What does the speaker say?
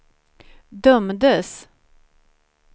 dömdes